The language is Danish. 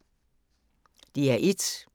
DR1